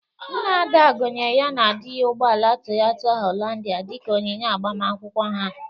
Nna Ada gonyere ya na dị ya ụgbọala Toyota haịlanda dịka onyinye agbamakwụkwọ ha.